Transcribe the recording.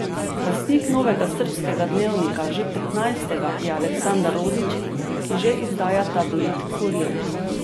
Lastnik novega srbskega dnevnika, že petnajstega, je Aleksandar Rodić, ki že izdaja tabloid Kurir.